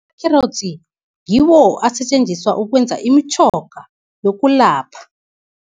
Kherotsi ngiwo asetjenziswa ukwenza imitjhoga yokulapha.